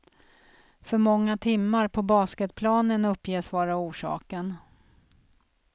För många timmar på basketplanen uppges vara orsaken.